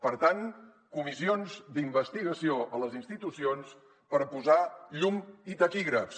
per tant comissions d’investigació a les institucions per posar llum i taquígrafs